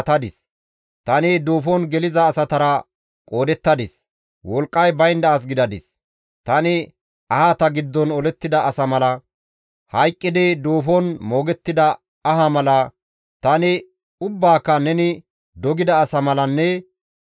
Tani ahata giddon olettida asa mala, hayqqidi duufon moogettida aha mala, tani ubbaaka neni dogida asa malanne ne maadoppe duuxxida asa mala gidadis.